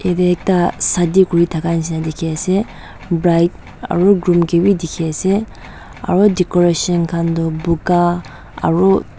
yede ekta shadi kuri thaka nishena dikhi ase bride aro groom ke b dikhi ase aro decoration khan du buga aru--